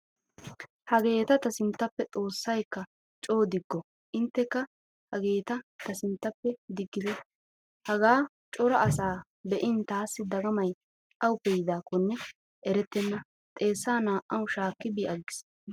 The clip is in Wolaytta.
Hageeta ta sinnttappe xoossaykka coo digo inttekka hageeta ta sinttappe diggite. Hagaa cora asaa be'in taassi dagamay awuppe yiidaakkonne erettenna xeessaa naa'awu shaakkidi bi aggiis.